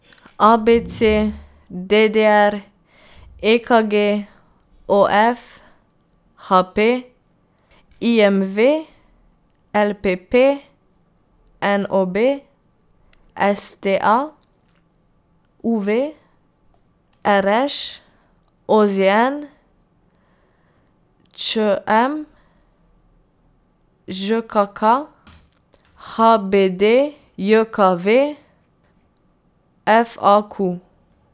A B C; D D R; E K G; O F; H P; I M V; L P P; N O B; S T A; U V; R Š; O Z N; Č M; Ž K K; H B D J K V; F A Q.